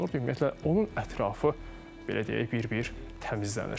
Ümumiyyətlə, onun ətrafı, belə deyək, bir-bir təmizlənir.